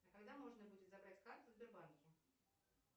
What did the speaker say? когда можно будет забрать карту в сбербанке